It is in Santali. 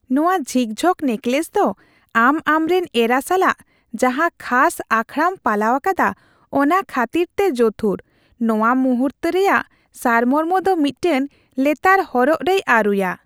ᱱᱚᱶᱟ ᱡᱷᱤᱠᱡᱷᱚᱠ ᱱᱮᱠᱞᱮᱥ ᱫᱚ ᱟᱢ ᱟᱢᱨᱮᱱ ᱮᱨᱟ ᱥᱟᱞᱟᱜ ᱡᱟᱦᱟᱸ ᱠᱷᱟᱥ ᱟᱠᱷᱲᱟᱢ ᱯᱟᱞᱟᱣ ᱟᱠᱟᱫᱟ ᱚᱱᱟ ᱠᱷᱟᱹᱛᱤᱨᱛᱮ ᱡᱚᱛᱷᱩᱨ, ᱱᱚᱶᱟ ᱢᱩᱦᱩᱨᱛᱚ ᱨᱮᱭᱟᱜ ᱥᱟᱨᱢᱚᱨᱢᱚ ᱫᱚ ᱢᱤᱫᱴᱟᱝ ᱞᱮᱛᱟᱲ ᱦᱚᱨᱚᱜ ᱨᱮᱭ ᱟᱹᱨᱩᱭᱟ ᱾